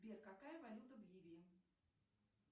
сбер какая валюта в ливии